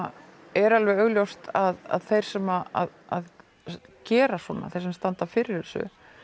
er alveg augljóst að þeir sem gera svona þeir sem standa fyrir